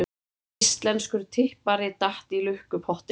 Íslenskur tippari datt í lukkupottinn